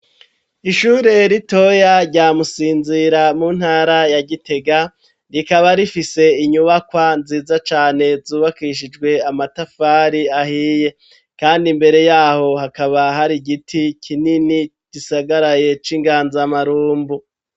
Ishure ritoya rya musinzira mu ntara ya gitega rikaba rifise inyubakwa nziza cane zubakishijwe amatafari ahiye kandi mbere yaho hakaba hari giti kinini gisagaraye c'inganzamarumbu.